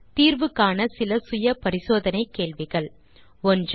நீங்கள் தீர்வு காண இதோ சில செல்ஃப் அசெஸ்மென்ட் கேள்விகள் 1